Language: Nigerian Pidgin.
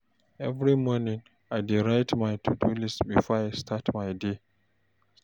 Every morning, I dey write my to-do list before I start my day.